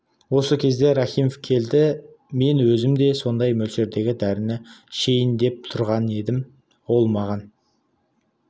осы кезде рахимов келді мен өзім де сондай мөлшердегі дәріні ішейін деп тұрған едім ол маған